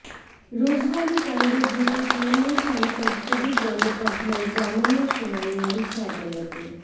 Rose Valley কাণ্ডে ধৃত তৃণমূল সাংসদ সুদীপ বন্দ্যোপাধ্যায়ের জামিনের শুনানি ওড়িশা আদালতে